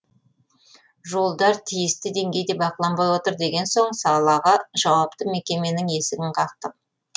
жолдар тиісті деңгейде бақыланбай отыр деген соң салаға жауапты мекеменің есігін қақтық